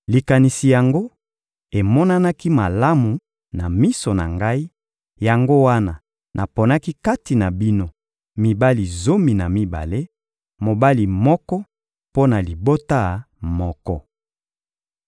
Likanisi yango emonanaki malamu na miso na ngai, yango wana naponaki kati na bino mibali zomi na mibale, mobali moko mpo na libota moko.